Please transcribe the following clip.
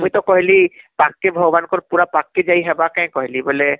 ମୁଇଁ ତ କହିଲି ପଖକେ , ଭଗବାନ ଙ୍କର ପୁରା ପଖକେ ଜୀବାକେ କହିଲି